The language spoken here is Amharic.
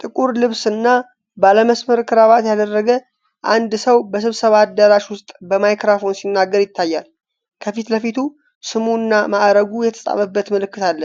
ጥቁር ልብስ እና ባለመስመር ክራባት ያደረገ አንድ ሰው በስብሰባ አዳራሽ ውስጥ በማይክሮፎን ሲናገር ይታያል። ከፊት ለፊቱ ስሙ እና ማዕረጉ የተጻፈበት ምልክት አለ።